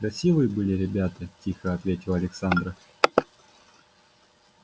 красивые были ребята тихо ответила александра